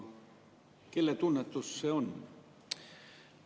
Kelle tunnetus see oli?